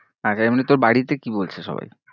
মানে তোর বাড়িতে কি বলছে সবাই?